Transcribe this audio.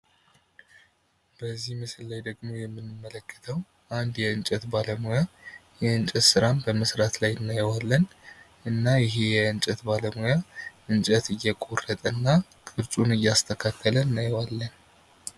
በዚህ ምስል ላይ ደግሞ የምንመለከተው አንድ የእንጨት ባለሙያ የእንጨት ሥራ በመስራት ላይ እናየዋለን እና ይሄ የእንጨት ባለሙያ እንጨት እየቆረጠ እና ቅርፁን እያስተካከለ እናየዋለን ::